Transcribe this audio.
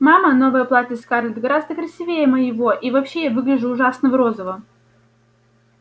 мама новое платье скарлетт гораздо красивее моего и вообще я выгляжу ужасно в розовом